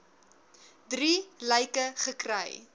drie lyke gekry